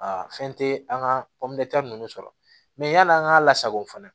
Aa fɛn te an ka nunnu sɔrɔ mɛ yan'an ka lasago fana